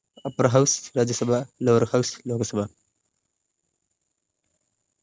upper house Rajya Sabha lower house Lok Sabha